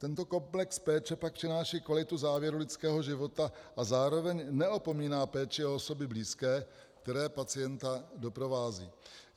Tento komplex péče pak přináší kvalitu závěru lidského života a zároveň neopomíná péči o osoby blízké, které pacienta doprovázejí.